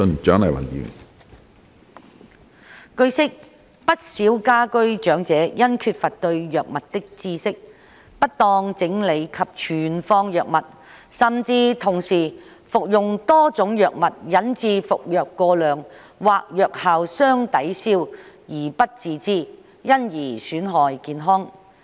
據悉，不少居家長者因缺乏對藥物的知識，不當整理及存放藥物，甚至同時服用多種藥物引致服藥過量或藥效相抵銷而不自知，因而損害健康。